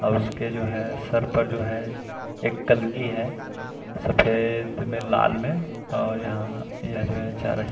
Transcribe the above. और उसके जो हैं सर पर जो हैं एक कलगी है सफ़ेद में लाल में और यहाँ यह जो चारा--